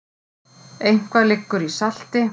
Eitthvað liggur í salti